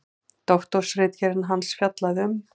Doktorsritgerð hans fjallaði um